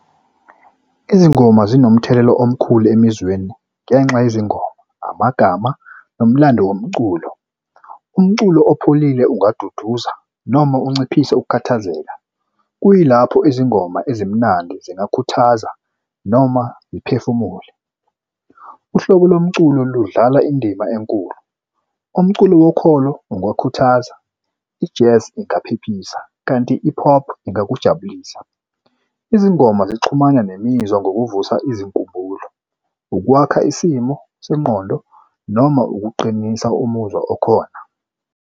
Izingoma zinomthelela omkhulu emizweni ngenxa yezingubo amagama nomlando womculo umculo opholile ungaduduza noma unciphise ukukhathazeka. Kuyilapho izingoma ezimnandi zingakhuthaza noma iphefumule uhlobo lomculo ludlala indima enkulu. Umculo wokholo ungakhuthaza, i-jazz ingaphephisa kanti i-pop ingakujabulisa. Izingoma zixhumane nemizwa ngokuvusa izinkumbulo ukwakha isimo sengqondo noma ukuqinisa umuzwa okhona.